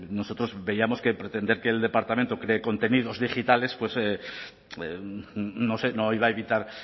nosotros veíamos que pretender que el departamento cree contenidos digitales pues no sé no iba a evitar